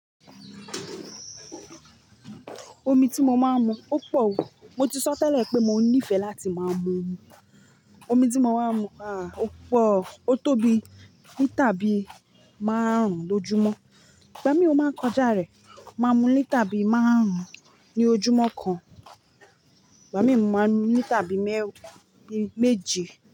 Omi tí mo máa ń mu, ó pọ̀ o. Mo ti sọ tẹ́lẹ̀ pé mo nífẹ̀ẹ́ láti máa mu omi. Omi tí mo máa ń mu, à, ó pọ̀. Ó tóbi, líter bí márùn lójúmọ́. Ìgbá mi o máa ń kọjá rẹ̀. Máa mu líter bí márùn ní ojúmọ́ kan. Ìgbá mi ò mú, máa mu ní tàbí mẹ́ẹ́rin méje.